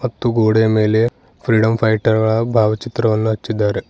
ಮತ್ತು ಗೋಡೆಯ ಮೇಲೆ ಫ್ರೀಡಂ ಫೈಟರ್ ಗಳ ಭಾವಚಿತ್ರವನ್ನು ಹಚ್ಚಿದ್ದಾರೆ.